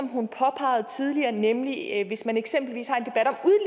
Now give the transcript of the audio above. hun påpegede tidligere nemlig det at hvis man eksempelvis har